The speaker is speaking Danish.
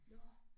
Nåh